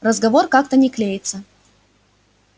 разговор как-то не клеится